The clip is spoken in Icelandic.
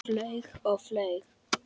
Flaug og flaug.